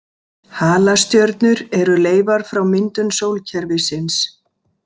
Halastjörnur eru leifar frá myndun sólkerfisins.